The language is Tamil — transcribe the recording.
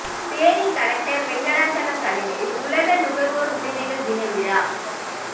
தேனி கலெக்டர் வெங்கடாசலம் தலைமையில் உலக நுகர்வோர் உரிமைகள் தின விழா